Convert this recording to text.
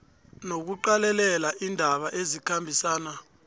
nokuqalelela iindaba ezikhambisana